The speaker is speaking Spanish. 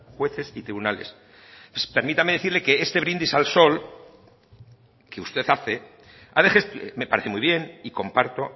jueces y tribunales permítame decirle que este brindis al sol que usted hace me parece muy bien y comparto